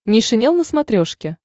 нейшенел на смотрешке